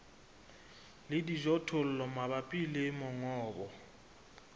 le dijothollo mabapi le mongobo